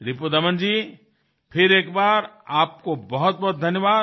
रिपुदमन जी फिर एक बार आपको बहुतबहुत धन्यवाद